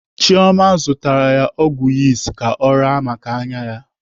Chioma zụtara ya ọgwụ yist ka ọ raa maka anya ya.